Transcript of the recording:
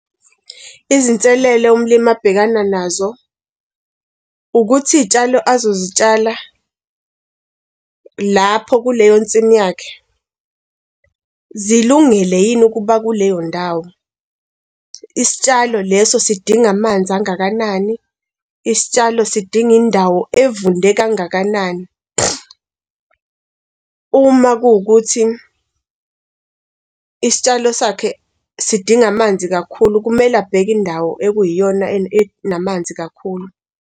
Izinselelo umlimi abhekana nazo, ukuthi iy'tshalo azozitshala lapho kuleyo nsimini yakhe, zilungele yini ukuba kuleyo ndawo. Isitshalo leso sidinga amanzi angakanani, isitshalo sidinga indawo evunde kangakanani. Uma kuwukuthi isitshalo sakhe sidinga amanzi kakhulu, kumele abheke indawo ekuyiyona enamanzi kakhulu.